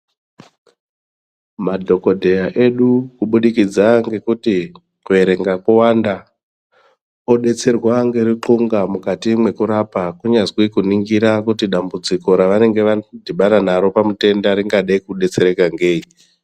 Madhokodheya edu kubudikidza ngekuti kuerenga kowanda odetserwa ngeruxunga mukati mwekurapa kunyazwi kuningira kuti dambudziko ravanenge vadhibana naro pamutenda ringada kudetsereka ngei.